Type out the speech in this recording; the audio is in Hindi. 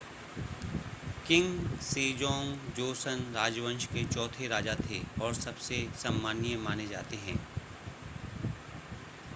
किंग सेजोंग जोसन राजवंश के चौथे राजा थे और सबसे सम्माननीय माने जाते हैं